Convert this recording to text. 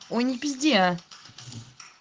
ой не пизди а